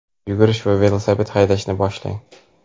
yugurish yoki velosiped haydashni boshlang.